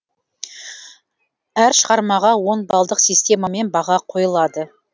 әр шығармаға он балдық системамен баға қойылады